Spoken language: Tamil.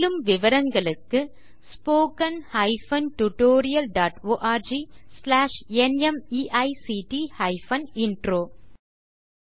மேலும் விவரங்களுக்கு spoken hyphen tutorial dot org slash NMEICT hyphen intro மூல பாடம் தேசி க்ரூ சொலூஷன்ஸ்